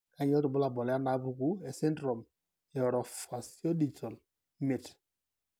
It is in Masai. Kainyio irbulabul onaapuku esindirom eOrofaciodigital imiet?